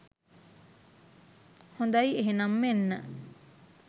හොඳයි එහෙනම් මෙන්න